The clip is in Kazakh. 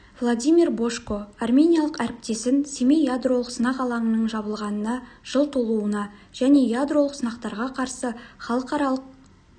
владимир божко армениялық әріптесін семей ядролық сынақ алаңының жабылғанына жыл толуына және ядролық сынақтарға қарсы халықаралық